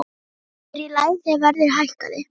Sér í lagi þegar verðið hækkaði.